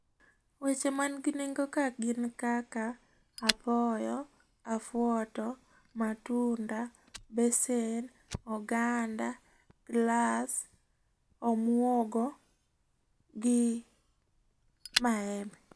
Weche man gi nengo' kae gin kaka, apoyo, afuoto , matunda, basin ,oganda , glass omwogo gi mawembe